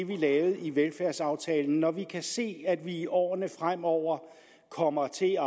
vi lavede i velfærdsaftalen når vi kan se at vi i årene fremover kommer til